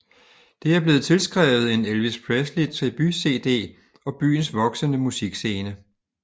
Det er blevet tilskrevet en Elvis Presley tribut CD og byens voksende musikscene